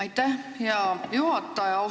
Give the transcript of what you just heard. Aitäh, hea juhataja!